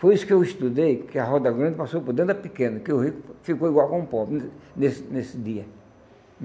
Foi isso que eu estudei, que a roda-grande passou por dentro da pequena, que o rico ficou igual com o pobre nesse nesse dia.